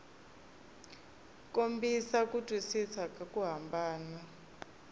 kombisa ku twisisa ku hambana